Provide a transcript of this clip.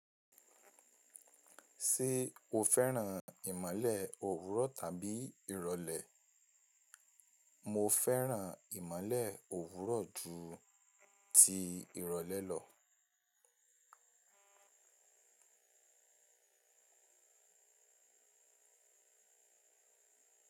Ṣé o fẹ́ràn ìmọ̀le òwúrọ̀ tàbí ìrọ̀lẹ́? Mo fẹ́ràn ìmọ̀le òwúrọ̀ ju ti ìrọ̀lẹ́ lọ.